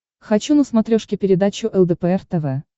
хочу на смотрешке передачу лдпр тв